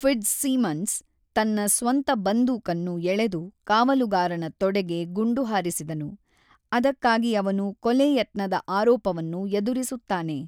Fitzsimmons ತನ್ನ ಸ್ವಂತ ಬಂದೂಕನ್ನು ಎಳೆದು ಕಾವಲುಗಾರನ ತೊಡೆಗೆ ಗುಂಡು ಹಾರಿಸಿದನು, ಅದಕ್ಕಾಗಿ ಅವನು ಕೊಲೆ ಯತ್ನದ ಆರೋಪವನ್ನು ಎದುರಿಸುತ್ತಾನೆ.